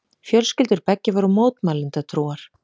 Fjölskyldur beggja voru mótmælendatrúar.